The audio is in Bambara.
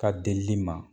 Ka delili ma